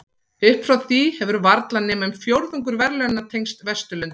Upp frá því hefur varla nema um fjórðungur verðlaunanna tengst Vesturlöndum.